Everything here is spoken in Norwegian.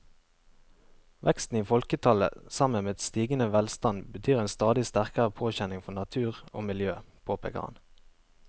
Veksten i folketallet sammen med stigende velstand betyr en stadig sterkere påkjenning for natur og miljø, påpeker han.